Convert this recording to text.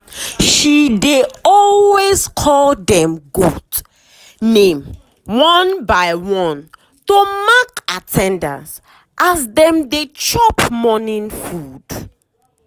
she dey always call dem goat name one by one to mark at ten dance as dem dey chop morning food.